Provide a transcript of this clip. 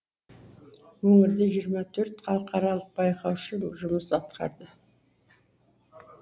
өңірде жиырма төрт халықаралық байқаушы жұмыс атқарды